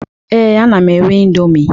Ee, ana m eri indọmii.